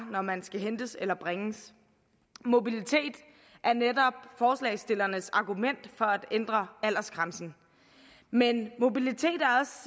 når man skal hentes eller bringes mobilitet er netop forslagsstillernes argument for at ændre aldersgrænsen men mobilitet